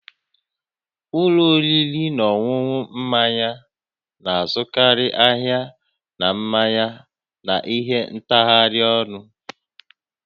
Ụlọ oriri na ọṅụṅụ mmanya na-azụkarị ahịa na mmanya na ihe ntagharị ọnụ